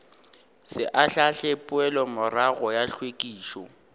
se ahlaahle poelomorago ya hlwekišo